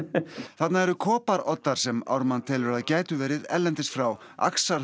þarna eru sem Ármann telur að gætu verið erlendis frá